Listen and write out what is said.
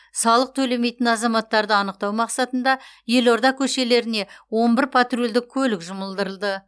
салық төлемейтін азаматтарды анықтау мақсатында елорда көшелеріне он бір патрульдік көлік жұмылдырылды